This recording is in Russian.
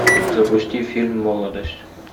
запусти фильм молодость